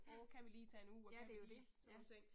Ja, ja det er jo det, ja